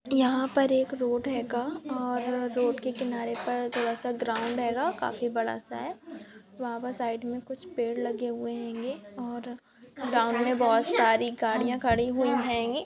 यहां पर एक रोड है का और रोड के किनारे पर थोड़ा सा ग्राउंड आएगा काफी बड़ा सा हैयहां पर साइड मॆ कुछ पेड़ पौधे लागि हुई है हैगे ग्राउंड मॆ वहत सारी गढ़ी है खाङि हुई है हैगे।